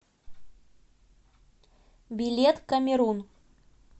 билет камерун